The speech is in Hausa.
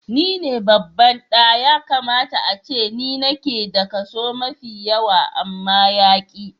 Ni ne babban ɗa, ya kamata ace ni nake da kaso mai yawa amma yaƙi.